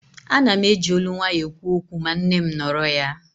Ana m eji ólú nwaayọ ekwu okwu ma nne m nọrọ ya